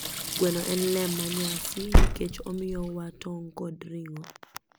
Gweno en lee ma nyasi nikech omiyo wa tong kod ring'o.